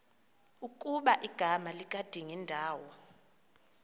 ukuba igama likadingindawo